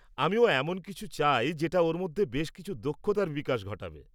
-আমি এমন কিছু চাই যেটা ওর মধ্যে বেশ কিছু দক্ষতার বিকাশ ঘটাবে।